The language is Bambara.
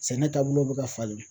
Sɛnɛ taabolo bɛ ka falen